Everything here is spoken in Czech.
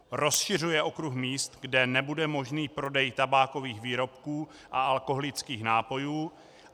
Rozšiřuje okruh míst, kde nebude možný prodej tabákových výrobků a alkoholických nápojů.